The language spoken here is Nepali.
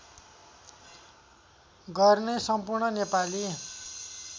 गर्ने सम्पूर्ण नेपाली